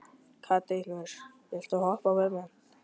Katarínus, viltu hoppa með mér?